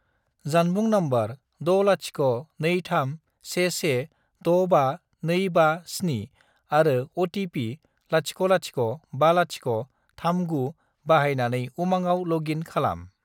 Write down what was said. जानबुं नम्बर 60231165257 आरो अ.टि.पि. 005039 बाहायनानै उमांआव लग इन खालाम।